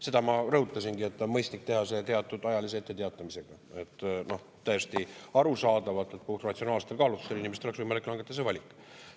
Seda ma rõhutasingi, et on mõistlik teha see teatud ajalise etteteatamisega, et täiesti arusaadavatel, ratsionaalsetel kaalutlustel inimestel oleks võimalik langetada see valik.